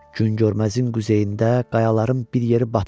Güngörməzin quzeyində qayaların bir yeri batıxdır.